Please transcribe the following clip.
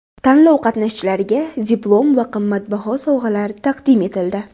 Tanlov qatnashchilariga diplom va qimmatbaho sovg‘alar taqdim etildi.